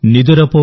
నిదురపో